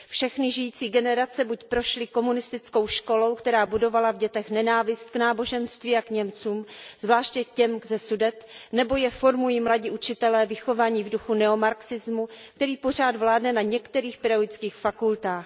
Všechny žijící generace buď prošly komunistickou školou, která budovala v dětech nenávist k náboženství a k Němcům, zvláště k těm ze Sudet, nebo je formují mladí učitelé vychovaní v duchu neomarxismu, který pořád vládne na některých pedagogických fakultách.